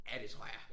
Ja det tror jeg